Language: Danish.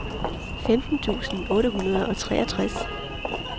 femten tusind otte hundrede og treogtres